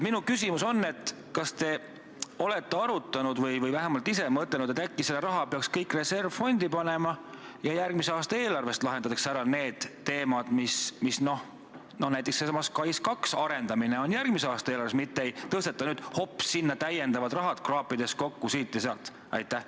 Kas te olete arutanud või vähemalt ise mõtelnud, et äkki peaks selle raha panema kõik reservfondi ja lahendama järgmise aasta eelarvest ära need teemad, näiteks sellesama SKAIS2 arendamise, aga mitte tõstma nüüd hopsti sinna lisaraha, kraapides kokku siit ja sealt?